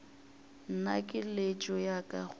nna keletšo ya ka go